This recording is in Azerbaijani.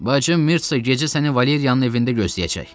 Bacım Mirsa gecə səni Valeriyanın evində gözləyəcək.